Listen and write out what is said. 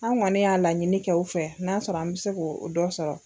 An kɔni y'a laɲini kɛ o fɛ n'a sɔrɔ an mɛ se ko o dɔ sɔrɔ.